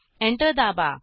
enter दाबा